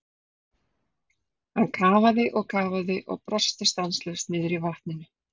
Hann kafaði og kafaði og brosti stanslaust niðri í vatninu.